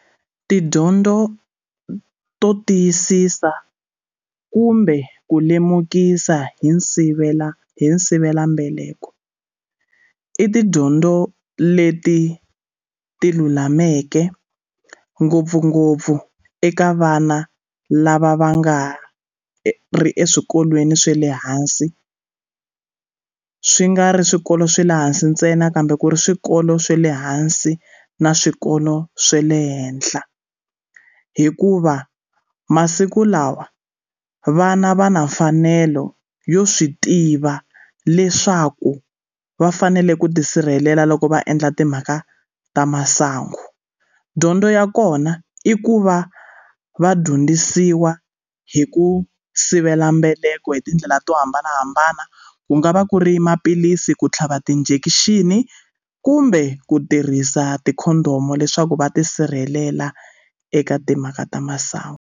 Tidyondzo to tiyisisa kumbe ku lemukisa hi nsivela hi sivelambeleko i tidyondzo leti ti lulameke ngopfungopfu eka vana lava va nga ri eswikolweni swa le hansi swi nga ri swikolo swa le hansi ntsena kambe ku ri swikolo swa le hansi na swikolo swa le henhla hikuva masiku lawa vana va na mfanelo yo swi tiva leswaku va fanele ku tisirhelela loko va endla timhaka ta masangu dyondzo ya kona i ku va va dyondzisiwa hi ku sivela mbeleko hi tindlela to hambanahambana ku nga va ku ri maphilisi ku tlhava ti-injection kumbe ku tirhisa ti-condom leswaku va tisirhelela eka timhaka ta masangu.